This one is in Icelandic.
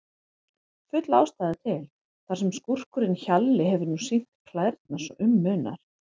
Full ástæða til, þar sem skúrkurinn Hjalli hefur nú sýnt klærnar svo um munar.